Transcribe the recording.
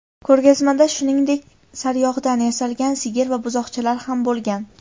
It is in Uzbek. Ko‘rgazmada, shuningdek, saryog‘dan yasalgan sigir va buzoqchalar ham bo‘lgan.